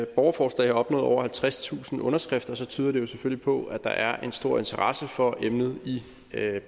borgerforslag har opnået over halvtredstusind underskrifter tyder det jo selvfølgelig på at der er en stor interesse for emnet i